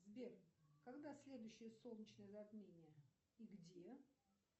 сбер когда следующее солнечное затмение и где